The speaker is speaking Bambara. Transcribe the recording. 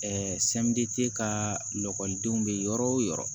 ka lakɔlidenw bɛ yɔrɔ o yɔrɔ